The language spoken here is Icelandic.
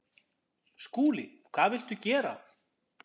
SKÚLI: Hvað viltu gera?